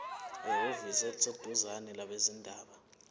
ehhovisi eliseduzane labezindaba